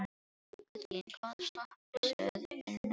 Guðlín, hvaða stoppistöð er næst mér?